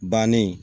Bannen